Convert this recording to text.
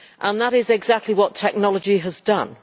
That is exactly what technology has done.